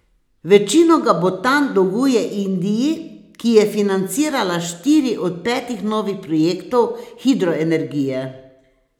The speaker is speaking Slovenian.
Večino ga Butan dolguje Indiji, ki je financirala štiri od petih novih projektov hidroenergije.